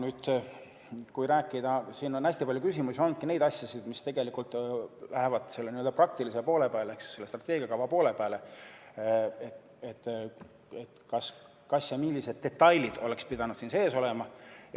Nüüd kui rääkida, siis siin on hästi palju küsimusi olnud neist asjadest, mis tegelikult lähevad selle praktilise poole peale ehk selle strateegiakava poole peale, et kas ja millised detailid oleks pidanud siin sees olema.